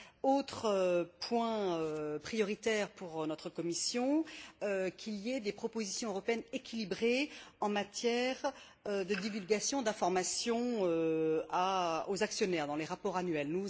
Autre point prioritaire pour notre commission qu'il y ait des propositions européennes équilibrées en matière de divulgation d'informations aux actionnaires dans les rapports annuels.